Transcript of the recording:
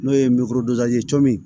N'o ye cɔ min